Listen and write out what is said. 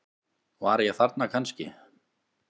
Var ég þarna kannski?